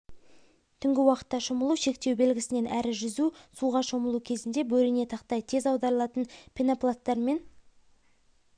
түнгі уақытта шомылу шектеу белгісінен әрі жүзу суға шомылу кезінде бөрене тақтай тез аударылатын пенопласттармен